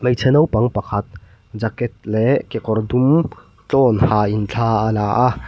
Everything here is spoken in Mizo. hmeichhe naupang pakhat jaket leh kekawr dum tlawn hain thla a la a.